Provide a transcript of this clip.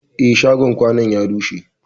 Eh, shagon kwanun ya rushe.